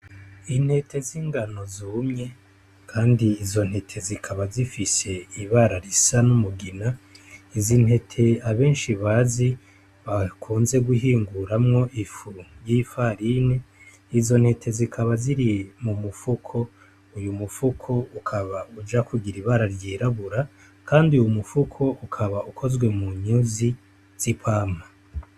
Intete z'ingano zumye, kandi izo ntete zikaba zifise ibara risa n'umugina, izi ntete abenshi bazi bakunze guhinguramwo ifu y'ifarine, izo ntete zikaba ziri m'umufuko, uyu mufuko ukaba uja kugira ibara ryirabura Kandi uyu mufuko ukaba ukozwe munyuzi z'ipampa.